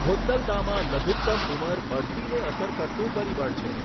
હોદ્લદામાં લઘુતમ ઉંમર બઢતીને અસર કરતું પરિબળ છે.